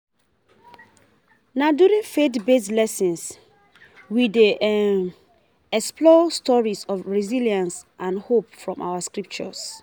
Na during faith-based lessons, we dey explore stories of resilience and hope from our scriptures.